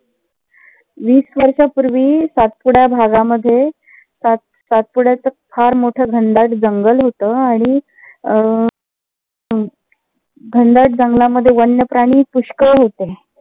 वीस वर्षा पूर्वी सातपुडा भागामध्ये सातपुड्याच फार मोठ घनदाट जंगल होत. आणि अह घनदाट जंगलामध्ये वन्य प्राणी पुष्कळ होते.